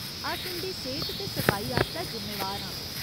अस उं'दी सेह्त ते सफाई आस्तै जिम्मेवार आं।